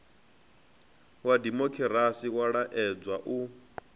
wa dimokirasi wa laedza u